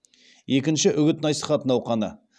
екінші үгіт насихат науқаны